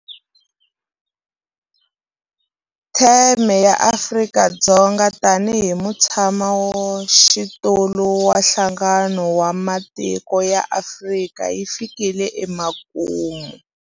Theme ya Afrika-Dzonga tanihi mutshamaxitulu wa Nhlangano wa Matiko ya Afrika yi fikile emakumu.